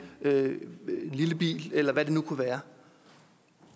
lille bil eller hvad det nu kunne være